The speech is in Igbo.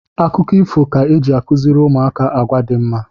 Akụkọ ifo ka eji akụziri ụmụaka agwa dị mma